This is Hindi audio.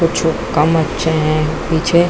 कुछू कम अच्छे है पीछे--